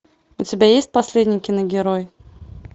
у тебя есть последний киногерой